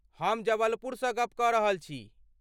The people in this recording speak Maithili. हम जबलपुरसँ गप्प कऽ रहल छी?